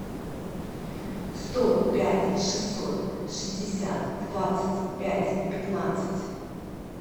сто пять шестьсот шестьдесят двадцать пять пятнадцать